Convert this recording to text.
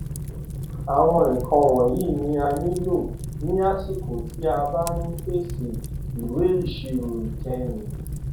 àwọn nǹkan wọnyí ni a ni a nílò ní àsìkò tí a bá ń pèsè ìwé ìṣirò ìkẹyìn